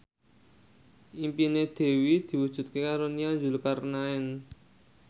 impine Dewi diwujudke karo Nia Zulkarnaen